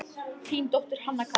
Þín dóttir, Hanna Katrín.